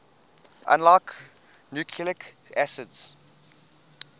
unlike nucleic acids